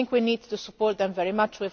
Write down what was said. I think we need to support them very much.